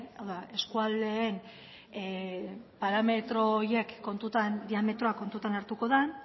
hau da eskualdeen parametro horiek diametroak kontuan hartuko den